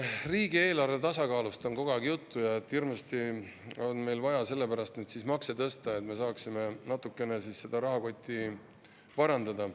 Riigieelarve tasakaalust on kogu aeg juttu ja sellest, et hirmsasti on meil vaja sellepärast makse tõsta, et me saaksime natukene oma rahakoti parandada.